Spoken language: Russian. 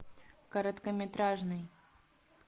короткометражный